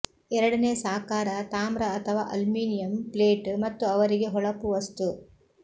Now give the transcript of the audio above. ಎರಡನೇ ಸಾಕಾರ ತಾಮ್ರ ಅಥವಾ ಅಲ್ಯೂಮಿನಿಯಂ ಪ್ಲೇಟ್ ಮತ್ತು ಅವರಿಗೆ ಹೊಳಪು ವಸ್ತು